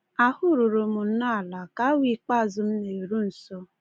Ahụ ruru m nnọọ ala ka awa ikpeazụ m na-eru nso.